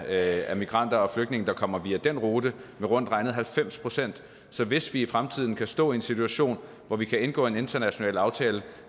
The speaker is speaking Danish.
af migranter og flygtninge der kommer via den rute med rundt regnet halvfems procent så hvis vi i fremtiden kan stå i en situation hvor vi kan indgå en international aftale